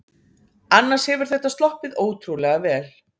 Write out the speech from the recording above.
Annars hefur þetta sloppið ótrúlega vel